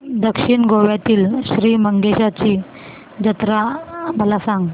दक्षिण गोव्यातील श्री मंगेशाची जत्रा मला सांग